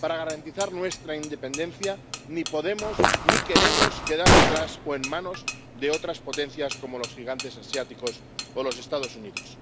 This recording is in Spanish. Para garantizar nuestra independencia, ni podemos ni queremos quedar detrás o en manos de otras potencias como los gigantes asiáticos o los Estados Unidos.